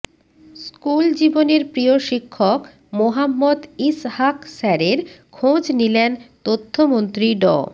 school জীবনের প্রিয় শিক্ষক মোহাম্মদ ইসহাক স্যারের খোঁজ নিলেন তথ্যমন্ত্রী ড